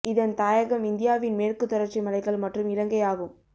இதன் தாயகம் இந்தியாவின் மேற்கு தொடர்ச்சி மலைகள் மற்றும் இலங்கை ஆகும்